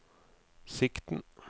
sikten